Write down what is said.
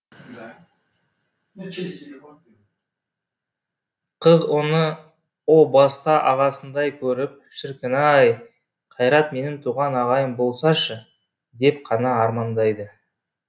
қыз оны о баста ағасындай көріп шіркін ай қайрат менің туған ағайым болсашы деп қана армандайды